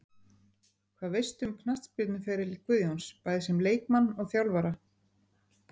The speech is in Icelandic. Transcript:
Hvað veistu um knattspyrnuferil Guðjóns, bæði sem leikmann og þjálfara?